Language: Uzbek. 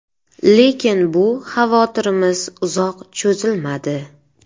Lekin bu xavotirimiz uzoq cho‘zilmadi.